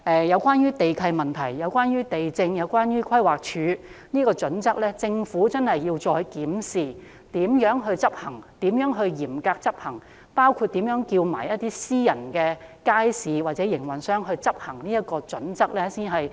有關地契問題、地政和規劃署的準則，我很希望政府再檢討如何可以嚴格執行，包括如何要求私營街市營運商遵循這套準則。